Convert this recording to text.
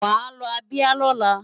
Wàá lọ Abia lọ́la!